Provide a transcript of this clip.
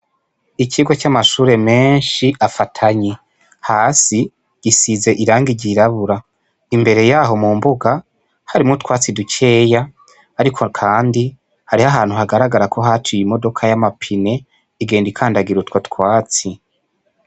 Ikigo c'amashure menshi afatanye, hasi gisize irangi ry'irabura, imbere yaho mu mbuga harimwo utwatsi dukeya ariko kandi hariho ahantu hagaragara ko haciye imodoka y'amapine igenda ikandagira utwo twatsi.